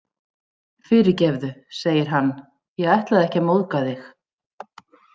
Fyrirgefðu, segir hann, ég ætlaði ekki að móðga þig.